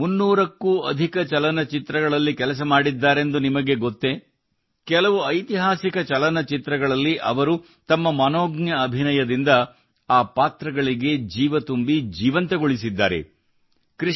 ಅವರು 300 ಕ್ಕೂ ಅಧಿಕ ಚಲನಚಿತ್ರಗಳಲ್ಲಿ ಕೆಲಸ ಮಾಡಿದ್ದಾರೆಂದು ನಿಮಗೆ ಗೊತ್ತೇ ಕೆಲವು ಐತಿಹಾಸಿಕ ಚಲನಚಿತ್ರಗಳಲ್ಲಿ ಅವರು ತಮ್ಮ ಮನೋಜ್ಞ ಅಭಿನಯದಿಂದ ಆ ಪಾತ್ರಗಳಿಗೆ ಜೀವ ತುಂಬಿ ಜೀವಂತಗೊಳಿಸಿದ್ದಾರೆ